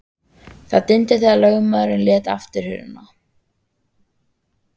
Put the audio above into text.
Það dimmdi þegar lögmaðurinn lét aftur hurðina.